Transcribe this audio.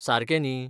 सारकें न्ही?